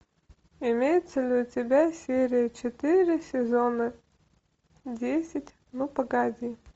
имеется ли у тебя серия четыре сезона десять ну погоди